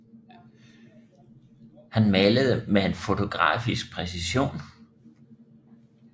Han malede med en fotografisk præcision